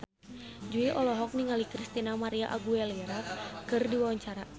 Jui olohok ningali Christina María Aguilera keur diwawancara